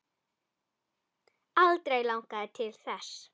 Aldrei langað til þess.